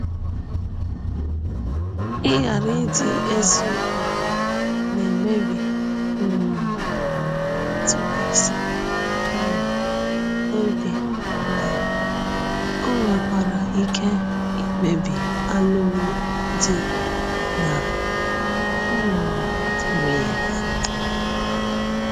Ịghara ịdị eziokwu na-emebi um ntụkwasị um obi ma ọ nwekwara ike imebi alụmdi na um nwunye.